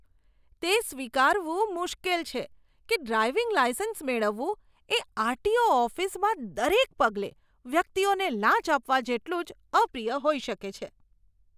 તે સ્વીકારવું મુશ્કેલ છે કે ડ્રાઈવિંગ લાઈસન્સ મેળવવું એ આર.ટી.ઓ. ઓફિસમાં દરેક પગલે વ્યક્તિઓને લાંચ આપવા જેટલું જ અપ્રિય હોઈ શકે છે.